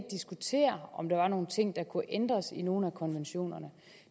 diskutere om der er nogle ting der kunne ændres i nogle af konventionerne